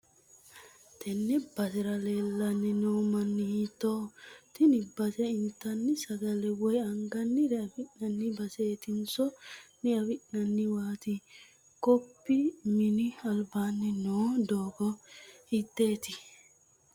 tenne basera leellanni no mini hiittoho? tini base intanni sagale woy angannire afi'nanni baseetinso diafi'nanniwaati? kopnni mini albaanni noo doogo hiitttote?